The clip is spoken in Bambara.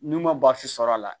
N'u ma sɔr'a la